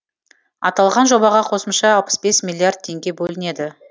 аталған жобаға қосымша алпыс бес миллиард теңге бөлінеді